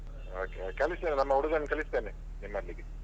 Okay okay ಕಳಿಸ್ತೇನೆ ನಮ್ಮ ಹುಡುಗನನ್ನು ಕಳಿಸ್ತೇನೆ ನಿಮ್ಮಲ್ಲಿಗೆ.